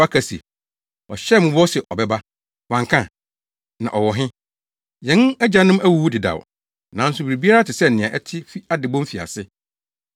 aka se, “Ɔhyɛɛ mo bɔ se ɔbɛba. Wanka? Na ɔwɔ he? Yɛn agyanom awuwu dedaw, nanso biribiara te sɛ nea ɛte fi adebɔ mfiase!”